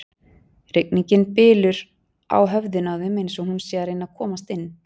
Rigningin bylur á höfðinu á þeim eins og hún sé að reyna að komast inn.